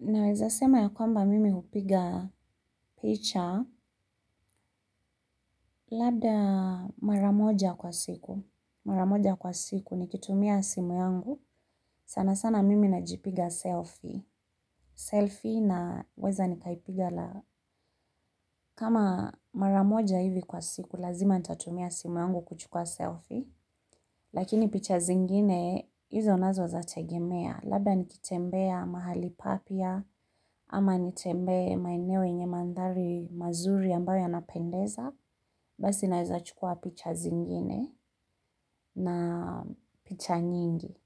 Naweza sema ya kwamba mimi hupiga picha labda mara moja kwa siku. Mara moja kwa siku nikitumia simu yangu. Sana sana mimi najipiga selfie. Selfie naweza nikaipiga la kama mara moja hivi kwa siku lazima nitatumia simu yangu kuchukua selfie. Lakini picha zingine hizo nazo zategemea. Labda nikitembea mahali papya ama nitembee maeneo yenye mandhari mazuri ambayo yanapendeza. Basi naweza chukua picha zingine na picha nyingi.